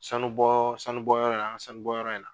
Sanu bɔ sanu bɔ yɔrɔ in na, an ka sanu bɔ yɔrɔ in na.